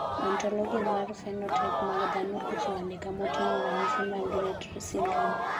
Ontologia mar phenotype mag dhano ochiwo andika moting`o ranyisi mag Rett Syndrome..